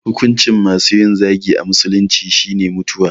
Hukuncin masu yin zagi a musulunci shine mutuwa